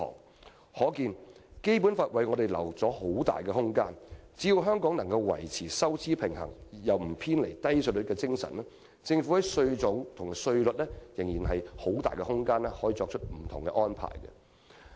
"由此可見，《基本法》為我們預留了很大空間，只要香港維持收支平衡而沒有偏離低稅率的精神，政府在稅種和稅率方面仍有很大空間作出不同安排。